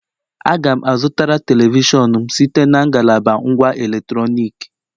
Aga m a zụtara telivishọn m site na ngalaba ngwá electronic